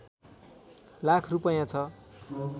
लाख रूपैयाँ छ